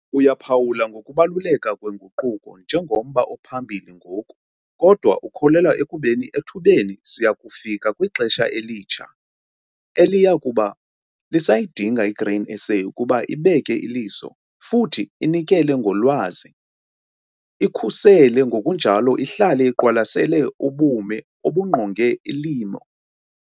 Uyaphawula ngokubaluleka kwenguquko njengomba ophambili ngoku kodwa ukholelwa ekubeni ethubeni siya kufika kwixesha elitsha eliya kuba lisayidinga iGrain SA ukuba ibeke iliso futhi inikele ngolwazi, ikhusele ngokunjalo ihlale iqwalasele ubume obungqonge ulimo ngokomdla wabo BONKE abalimi bokutya okuziinkozo.